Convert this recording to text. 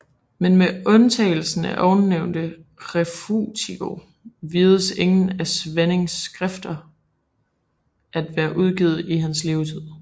Men med undtagelse af ovennævnte Refutatio vides ingen af Svanings skrifter at være udgivet i hans levetid